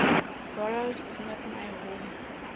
world is not my home